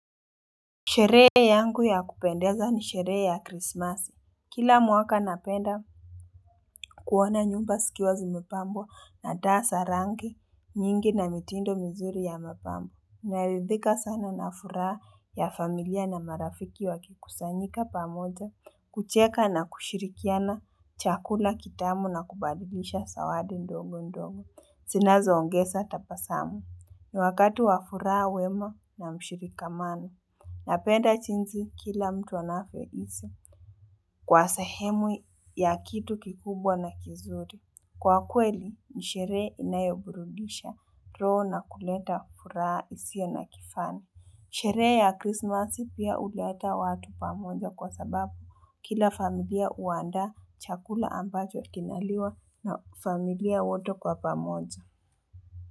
Sheree yangu ya kupendeza ni sheree ya Christmas. Kila mwaka napenda kuwona nyumba sikiwa zimepambwa na daa sarange nyingi na mitindo mzuri ya mapambo. Naridhika sana nafuraa ya familia na marafiki wakikusanyika pamoja, kucheka na kushirikiana chakula kitamu na kubadilisha sawadi ndongo ndongo. Sinazo ongesa tapasamu. Ni wakati wa furaa wema na mshirikamano. Napenda chinzi kila mtu anafyo isi kwa sahemu ya kitu kikubwa na kizuri. Kwa kweli, ni sheree inayoburudisha, roho na kuleta furaa isio na kifani. Sheree ya krismasi pia uleta watu pamoja kwa sababu kila familia uandaa chakula ambacho kinaliwa na familia wote kwa pamoja.